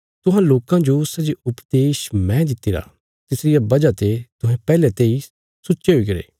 तुहां लोकां जो सै जे उपदेश मैं दित्तिरा तिसरिया वजह ते तुहें पैहले तेई सुच्चे हुईगरे